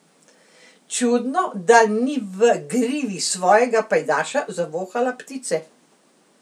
Čudno, da ni v grivi svojega pajdaša zavohala ptice.